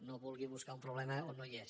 no vulgui bus·car un problema on no hi és